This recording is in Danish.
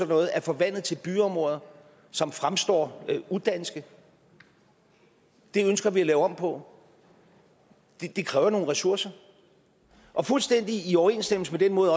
noget er forvandlet til byområder som fremstår udanske det ønsker vi at lave om på det kræver nogle ressourcer og fuldstændig i overensstemmelse med den måde